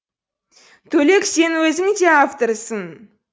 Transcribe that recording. төлек сен өзің де авторсың